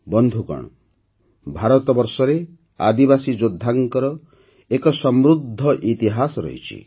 ବନ୍ଧୁଗଣ ଭାରତବର୍ଷରେ ଆଦିବାସୀ ଯୋଦ୍ଧାଙ୍କର ଏକ ସମୃଦ୍ଧ ଇତିହାସ ରହିଛି